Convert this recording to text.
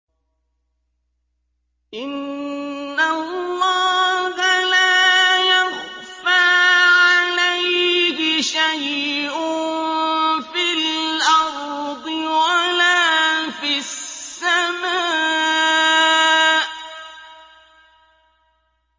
إِنَّ اللَّهَ لَا يَخْفَىٰ عَلَيْهِ شَيْءٌ فِي الْأَرْضِ وَلَا فِي السَّمَاءِ